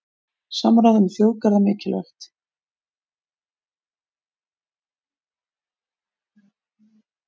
Samráð um þjóðgarða mikilvægt